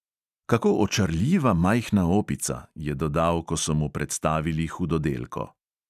"Kako očarljiva majhna opica," je dodal, ko so mu predstavili hudodelko.